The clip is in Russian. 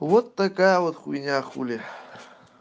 вот такая вот хйня хули